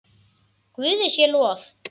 Guði sé lof!